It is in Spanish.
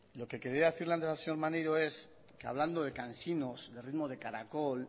lo que quería decirle antes al señor maneiro es que hablando de cansinos de ritmo de caracol